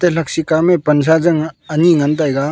lakshi kamey pansa jannga ani ngantaga.